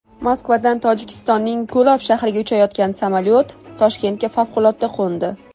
Moskvadan Tojikistonning Ko‘lob shahriga uchayotgan samolyot Toshkentga favqulodda qo‘ndi.